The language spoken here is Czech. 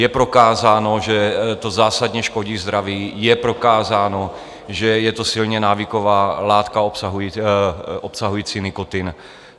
Je prokázáno, že to zásadně škodí zdraví, je prokázáno, že je to silně návyková látka obsahující nikotin.